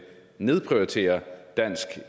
nedprioritere dansk